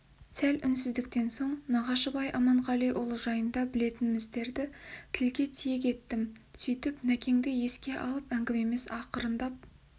сәл үнсіздіктен соң нағашыбай аманғалиұлы жайында білетінімдерді тілге тиек еттім сөйтіп нәкеңді еске алып әңгімеміз ақырындап